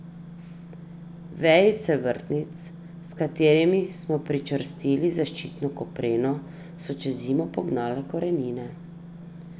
Vejice vrtnic, s katerimi smo pričvrstili zaščitno kopreno, so čez zimo pognale korenine.